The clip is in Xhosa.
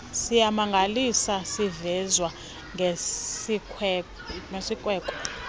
siyamangalisa sivezwa ngesikweko